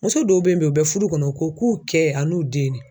Muso dɔw be yen bi u bɛ fuddu kɔnɔ u ko k'u kɛ ani den de.